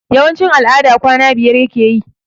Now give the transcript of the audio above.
Yawanci al'ada kwana biyar yake yi